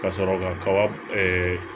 Ka sɔrɔ kaba